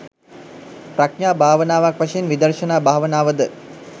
ප්‍රඥා භාවනාවක් වශයෙන් විදර්ශනා භාවනාව ද